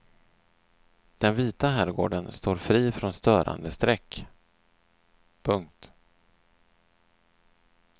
Den vita herrgården står fri från störande streck. punkt